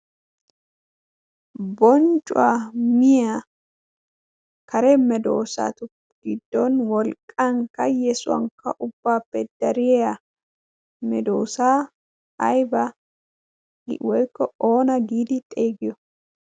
bonccuwaa miya kare medoosaatu giddon wolqqan kayyesuwankka ubbaappe dariya medoosaa ayba woykko oona giidi xeegiyo?